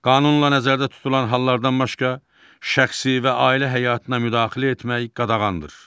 Qanunla nəzərdə tutulan hallardan başqa, şəxsi və ailə həyatına müdaxilə etmək qadağandır.